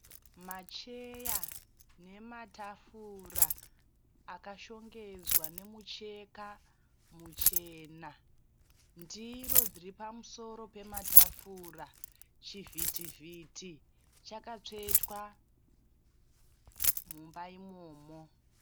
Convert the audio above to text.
Macheya nematafura akashongedzwa nemucheka muchena. Ndiro dziri pamusoro pematafura. Chivhiti vhiti chakatsvetwa mumba imomo.